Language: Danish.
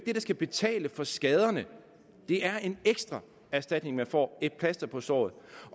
skal betale for skaderne det er en ekstra erstatning man får et plaster på såret